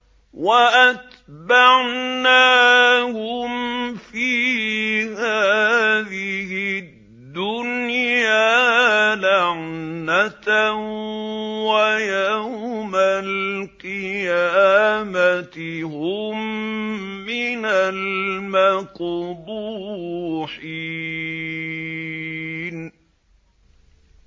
وَأَتْبَعْنَاهُمْ فِي هَٰذِهِ الدُّنْيَا لَعْنَةً ۖ وَيَوْمَ الْقِيَامَةِ هُم مِّنَ الْمَقْبُوحِينَ